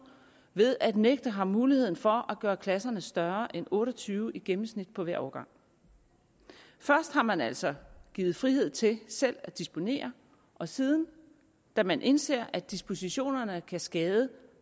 ved at nægte ham muligheden for at gøre klasserne større end otte og tyve elever i gennemsnit på hver årgang først har man altså givet frihed til selv at disponere og siden da man indser at dispositionerne kan skade